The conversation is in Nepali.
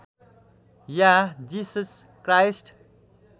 yeah Jesus Christ